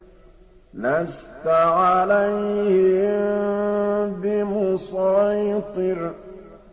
لَّسْتَ عَلَيْهِم بِمُصَيْطِرٍ